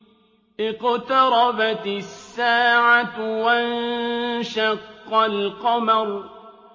اقْتَرَبَتِ السَّاعَةُ وَانشَقَّ الْقَمَرُ